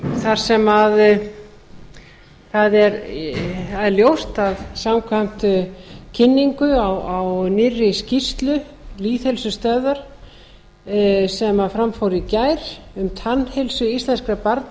þar sem það er ljóst að samkvæmt kynningu á nýrri skýrslu lýðheilsustöðvar sem fram fór í gær um tannheilsu íslenskra barna